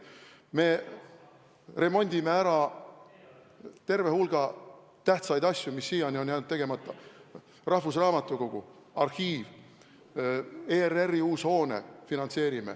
Me remondime ära terve hulga tähtsaid objekte, mis siiani on jäänud tegemata: rahvusraamatukogu, arhiiv, ERR-i uus hoone.